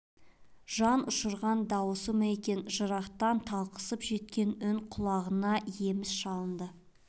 жанұшырған дауысы ма екен жырақтан талқысып жеткен үн құлағына еміс шалынды